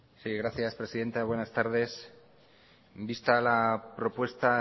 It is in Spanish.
gracias presidenta buenas tardes vista la propuesta